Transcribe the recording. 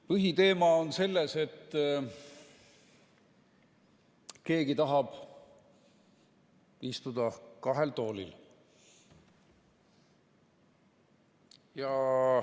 Põhiteema on selles, et keegi tahab istuda kahel toolil.